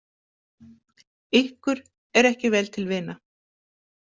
Ykkur er ekki vel til vina?